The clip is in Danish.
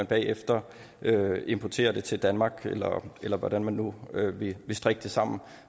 bagefter importere varerne til danmark eller eller hvordan man nu vil strikke det sammen